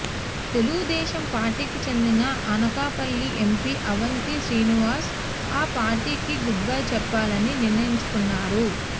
తెలుగుదేశం పార్టీకి చెందిన అనకాపల్లి ఎంపీ అవంతి శ్రీనివాస్ ఆ పార్టీకి గుడ్ బై చెప్పాలని నిర్ణయించుకున్నారు